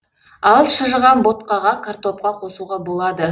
ал шыжыған ботқаға картопқа қосуға болады